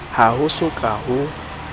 ha ho so ka ho